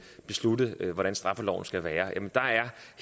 beslutte hvordan straffeloven skal være